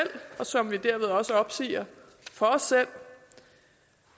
og som vi derved også opsiger for os selv